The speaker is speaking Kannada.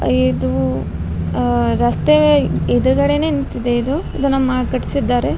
ಇದು ಆಹ್ಹ್ ರಸ್ತೆ ಎದ್ರ್ಗಡೇನೇ ನಿಂತಿದೆ ಇದು ಇದು ನಮ್ಮ ಕಟ್ಸಿದ್ದಾರೆ.